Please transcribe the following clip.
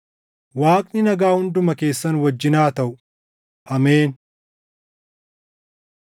Waaqni nagaa hunduma keessan wajjin haa taʼu. Ameen.